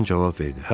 Den cavab verdi.